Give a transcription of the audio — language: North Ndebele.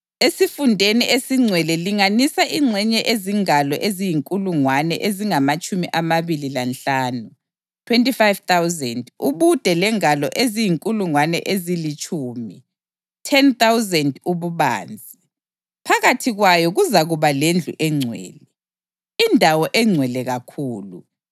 Esifundeni esingcwele linganisa ingxenye ezingalo eziyinkulungwane ezingamatshumi amabili lanhlanu (25,000) ubude lengalo eziyinkulungwane ezilitshumi (10,000) ububanzi. Phakathi kwayo kuzakuba lendlu engcwele, iNdawo eNgcwele kakhulu.